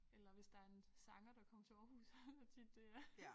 Eller hvis der en sanger der kom til Aarhus tit det er